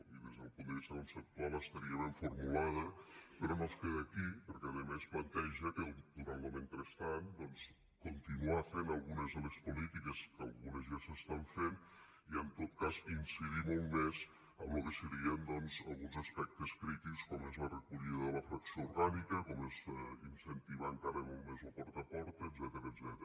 i des del punt de vista conceptual estaria ben formulada però no es queda aquí perquè a més planteja durant lo mentrestant doncs continuar fent algunes de les polítiques que algunes ja s’estan fent i en tot cas incidir molt més en lo que serien alguns aspectes crítics com és la recollida de la fracció orgànica com és incentivar encara molt més lo porta a porta etcètera